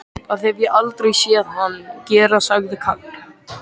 Það hef ég aldrei séð hann gera sagði Karl.